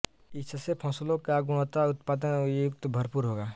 इससे फसलों का गुणवत्ता उत्पादन युक्त भरपुर होगा